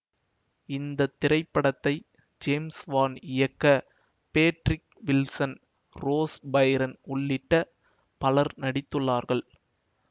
இந்த திரைப்படத்தை James Wan இயக்க பேட்ரிக் வில்சன் ரோஸ் பைரன் உள்ளிட்ட பலர் நடித்துள்ளார்கள்